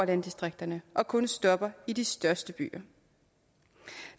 landdistrikterne og kun stopper i de største byer